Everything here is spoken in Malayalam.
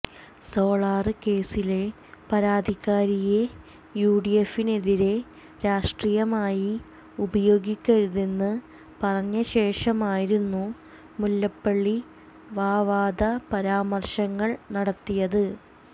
സോളാര് കേസിലെ പരാതിക്കാരിയെ യുഡിഎഫിനെതിരെ രാഷ്ട്രീയമായി ഉപയോഗിക്കരുതെന്ന് പറഞ്ഞ ശേഷമായിരുന്നു മുല്ലപ്പള്ളി വാവാദ പരാമര്ശങ്ങൾ നടത്തിയത്